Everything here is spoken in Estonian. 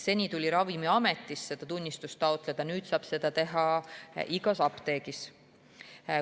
Seni tuli seda tunnistust Ravimiametist taotleda, nüüd saab seda teha igas apteegis.